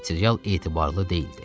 Material etibarlı deyildi.